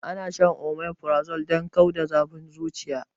Ana shan omeprazole don kau da zafin zuciya